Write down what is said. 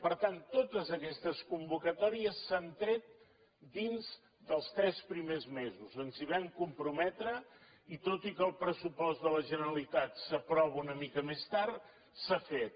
per tant totes aquestes convocatòries s’han tret dins dels tres primers mesos ens hi vam comprometre i tot i que el pressupost de la generalitat s’aprova una mica més tard s’ha fet